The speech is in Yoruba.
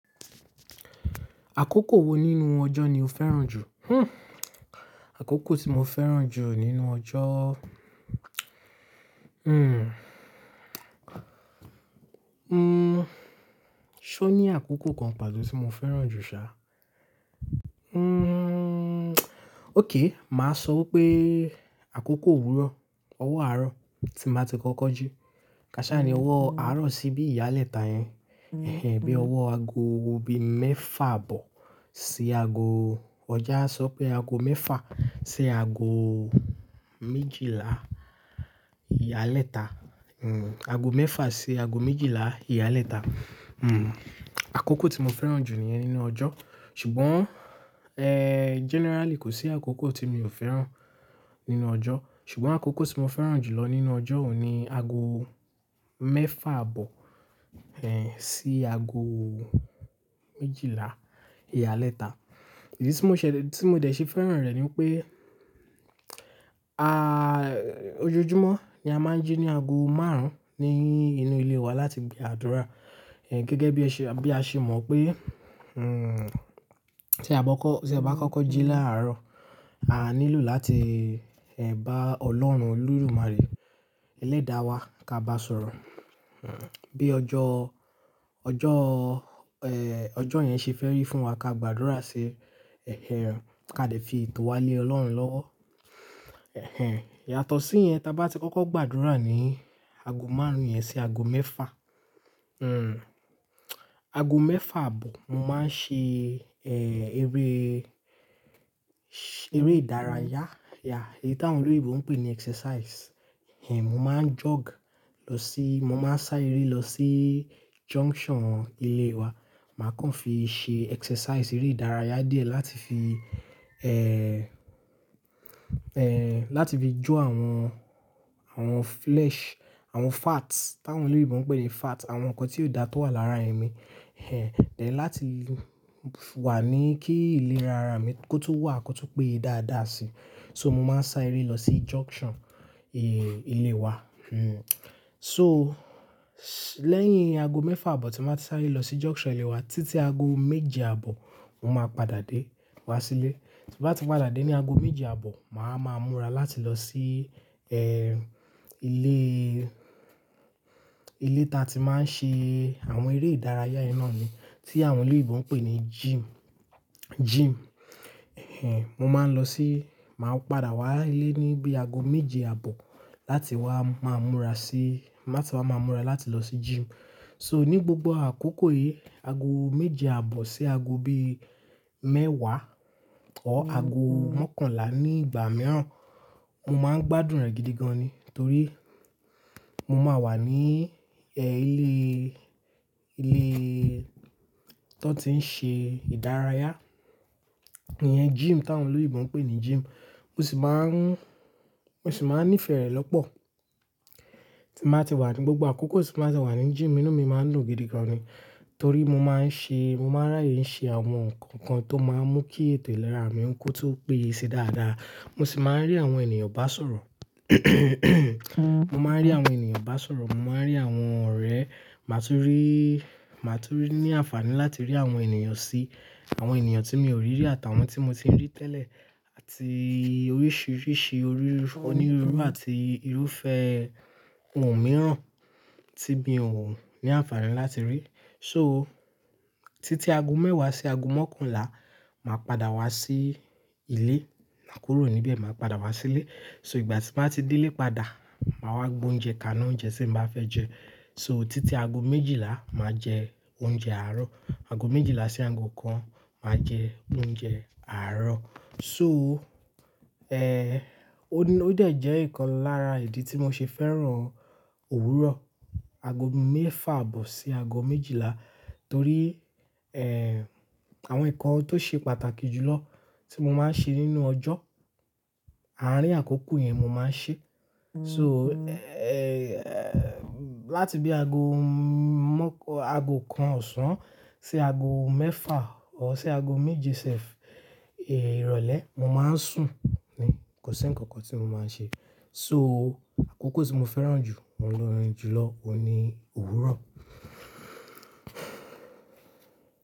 Àkókò wo nínú ọjọ́ ni o fẹ́ràn jù? Àkókò tí mo fẹ́ràn jù nínú ọjọ́. Ṣé ó ní àkókò kan pàtó tí mo fẹ́ràn jù ṣá? Okay, màá sọ pé àkókò òwúrọ̀, ọwọ́ àárọ̀ tí n ba ti kọ́kọ́ jí. Kà ṣáa ni ọwọ́ àárọ̀ sí bí ìyálẹ̀ta yẹn. Ẹ̀hẹ̀n, bí ọwọ́ aago bii mẹ́fà abọ̀ sí aago ọjà sọ pé ago mẹ́fà sí ago méjìlá ìyálẹ̀ta. Hmm. Ago mẹ́fà sí ago méjìlá ìyálẹ̀ta. Àkókò tí mo fẹ́ràn jù nìyẹn nínú ọjọ́. Ṣùgbọ́n, ẹ́, generally kò sí àkókò tí mi ò fẹ́ràn nínú ọjọ́. Ṣùgbọ́n àkókò tí mo fẹ́ràn jù lọ nínú ọjọ́ òun ni aago mẹ́fà aabọ̀, ẹ́, sí ago méjìlá ìyálẹ̀ta. Idi tí mo ṣẹ-- tí mo dẹ̀ ṣe fẹ́ràn rẹ̀ ni pé, a, ojoojúmọ́ ni a máa ń jí ní aago márùn-ún ni inú ilé wa láti gba àdúrà. Ẹ̀, gẹ́gẹ́ bí ẹ ṣe, bí a ṣe mọ̀ pé, hmm, tí a bá kọ́, tí a bá kọ́kọ́ jí láàárọ̀, a nílò láti, ẹ́, bá Ọlọ́run Olodumare, ẹlẹ́dàá wa ka bá sọ̀rọ̀. Hmm. Bí ọjọ́, ọjọ́, ẹ́, ọjọ́ yẹn ṣe fẹ́ rí fún wa ká gba àdúrà ṣii, ẹ́hẹ̀n, ká dẹ̀ fi ètò wa lé Ọlọ́run lọ́wọ́. Ẹ̀hẹ̀n. Yàtọ̀ sí yẹn, tí a bá ti kọ́kọ́ gbàdúrà ní ago márùn-ún yẹn sí ago mẹ́fà. Aago mẹ́fà aabọ̀, mo máa ń ṣe, ẹ́, eré, eré ìdárayá. Yeah. Èyí tí àwọn olóyinbo ń pè ní exercise. Ẹ̀hẹn, mo máa ń jog lọ sí, mo máa ń sá eré lọ sí junction ilé wa. Màá kàn fi ṣe exercise, eré ìdárayá díẹ̀ láti fi, ẹ́, ẹ́, láti fi jó àwọn, àwọn flesh, àwọn fats, tí àwọn olóyinbo ń pè ní fat, àwọn nǹkan tí ó dà tó wà lára e yen. Ẹ̀hẹn. Then, láti wà ní kí ìlera ara mi kó tun wà, kó tun péye dáadáa sí. So mo máa ń sá eré lọ sí junction, ẹ́, ilé wa. Hmm. So lẹ́yìn aago mẹ́fà aabọ̀ tí màá ti sá eré lọ sí junction ilé wa, títí aago méje àbọ̀ mo máa padà dé wá sílé. Ti n bá ti padà dé ní ago méje aàbọ̀, màá wa maa múra láti lọ sí, ẹ́, ilé, ilé tí a ti máa ń ṣe àwọn eré ìdárayá yẹn náà ni. Tí àwọn olóyińbo n pè ní gym, gym. Ẹ̀hẹn. Mo máa ń lọ sí, màá padà wá ilé ní bí aago méje aàbọ̀ láti wá, máa múra sí, láti wá máa múra láti lọ sí gym. So ní gbogbo àkókò yìí, aago méje àbọ̀ sí aago bí mẹ́wàá, or aago mọ́kànlá ní ìgbà mìíràn, mo máa ń gbádùn rẹ̀ gidi gan ni. Torí mo máa wà ní, ẹ́, ilé, ilé ti won ti ń ṣe ìdárayá. Ìyẹn gym tí àwọn olóyinbo ń pè ní gym. Mo sì máa ń, mo sì máa ń nífẹ̀ẹ́ rẹ̀ lọ́pọ̀. Tí n ba ti wà ní gbogbo àkókò tí n ba ti wà ní gym, ínú mi máa ń dun gidi gan ni. Torí mo máa ń ṣe, mo máa ń ráàyè ń ṣe àwọn nǹkan kan tó máa ń mú kí ètò ìlera mi kó tun péye sií dáadáa. Mo sì máa ń rí àwọn ènìyàn bá sọ̀rọ̀. Mo máa ń rí àwọn ènìyàn bá sọ̀rọ̀, mo máa ń rí àwọn ọ̀rẹ́, màá tún rí, màá tún ní àǹfààní láti rí àwọn ènìyàn sí. Àwọn ènìyàn tí mi o rí rí àtàwọn tí mo ti ń rí tẹ́lẹ̀, àti oríṣiríṣi orí, onírúurú àti irúfẹ́ ohun mìíràn tí bí i òun ní àǹfààní láti rí. So títí ago mẹ́wàá sí ago mọ́kànlá, màá padà wá sí ilé. Maa kúrò níbẹ̀ màá padà wá sílé. So ìgbà tí n ba ti dé ilé padà, màá wá gbé oúnjẹ kaná oúnjẹ tí mo bá fẹ́ jẹ. So títí aago méjìlá màá jẹ oúnjẹ àárọ̀. Aago méjìlá sí aago kan màá jẹ oúnjẹ àárọ̀. So, ẹ́, ó ní, ó dẹ̀ jẹ́ ìkan lára ìdí tí mo ṣe fẹ́ràn òwúrọ̀. Aago mẹ́fà aabọ̀ sí aago méjìlá. Torí, ẹ́, àwọn nǹkan tó ṣe pàtàkì jù lọ tí mo máa ń ṣe nínú ọjọ́, àárín àkókò yẹn mo máa ń ṣe. So, ẹ́, ẹ́, láti bí aago mọ́, aago kan ọ̀sán sí aago mẹ́fà or síi aago méje sẹ́f, ẹ́, ìrọ̀lẹ́ mo máa ń sùn ni. Kò sí ǹkan kan tí mo máa ń ṣe. So àkókò tí mo fẹ́ràn jù, hun jùlọ, òun ni òwúrọ̀.